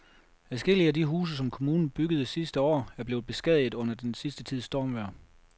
Adskillige af de huse, som kommunen byggede sidste år, er blevet beskadiget under den sidste tids stormvejr.